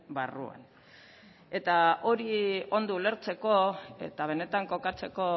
barruan eta hori ondo ulertzeko eta benetan kokatzeko